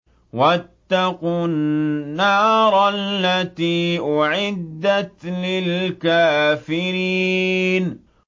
وَاتَّقُوا النَّارَ الَّتِي أُعِدَّتْ لِلْكَافِرِينَ